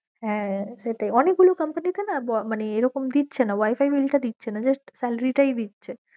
হ্যা সেটাই, অনেক গুলো company তে না মানে এরম দিচ্ছে না wifi bill টা দিচ্ছে না just salary টাই দিচ্ছে।